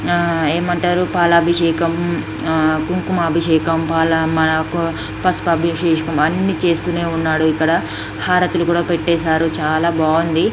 ఏమంటారు పాలాభిషేకం కుంభాభిషేకము పాలాభిషేకం మనకు బస్మాభిషేకం అన్ని చేస్తూనే ఉన్నారు. ఇక్కడ హారతులు కూడా పెట్టేశారు చాలా బాగుంది.